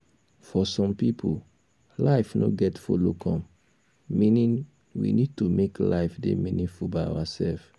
for some pipo life no get follow come meaning we need to make life dey meaningful by ourself